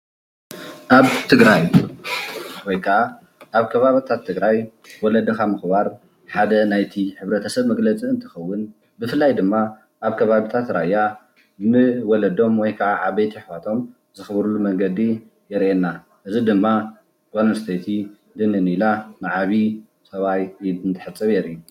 ኣብ ትግራይ ወይከዓ ኣብ ከባቢታት ትግራይ ወለድኻ ምኽባር ሓደ ናይቲ ሕብረተሰብ መግለፂ እንትኸውን ብፍላይ ድማ ኣብ ከባቢታት ራያ ንወለዶም ወይከዓ ዓበይቲ ኣሕዋቶም ዘክብርሉ መንገዲ የርእየና። እዚ ድማ ጓል ኣንስተይቲ ድንን ኢላ ንዓቢይ ሰብኣይ ኢድ እንተሕፀብ የርእይ።